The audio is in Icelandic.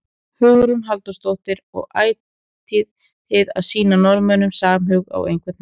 Hugrún Halldórsdóttir: Og ætlið þið að sýna Norðmönnum samhug á einhvern hátt?